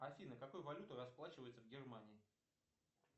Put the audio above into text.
афина какой валютой расплачиваются в германии